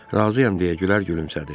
Razıyam, deyə Gülər gülümsədi.